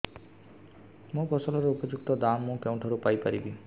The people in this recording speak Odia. ମୋ ଫସଲର ଉପଯୁକ୍ତ ଦାମ୍ ମୁଁ କେଉଁଠାରୁ ପାଇ ପାରିବି